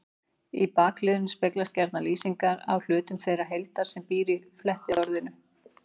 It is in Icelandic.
Í bakliðnum speglast gjarna lýsing á hlutum þeirrar heildar sem býr í flettiorðinu.